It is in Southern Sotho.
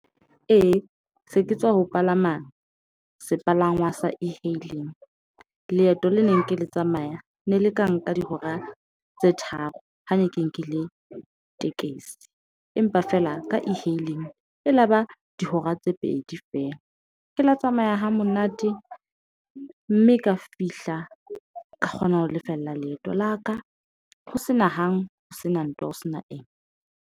Ee, se ke tswa ho palama sepalangwa sa e-hailing. Leeto le neng ke le tsamaya ne le ka nka dihora tse tharo ha ne ke nkile tekesi, empa feela ka e-hailing e la ba dihora tse pedi feela ke la tsamaya hamonate, mme ka fihla ka kgona ho lefella leeto la ka. Ho sena ho sena ntwa ho sena eng.